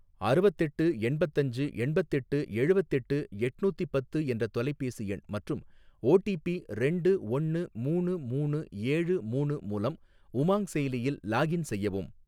அறுவத்தெட்டு எண்பத்தஞ்சு எண்பத்தெட்டு எழுவத்தெட்டு எட்நூத்தி பத்து என்ற தொலைபேசி எண் மற்றும் ஓடிபி ரெண்டு ஒன்னு மூணு மூணு ஏழு மூணு மூலம் உமாங் செயலியில் லாகின் செய்யவும்.